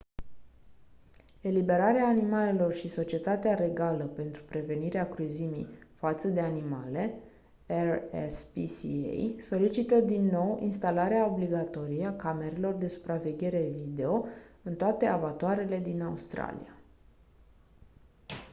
eliberarea animalelor și societatea regală pentru prevenirea cruzimii față de animale rspca solicită din nou instalarea obligatorie a camerelor de supraveghere video în toate abatoarele din australia